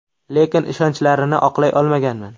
Lekin ishonchlarini oqlay olmaganman.